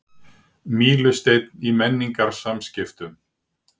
Mílusteinn í menningarsamskiptum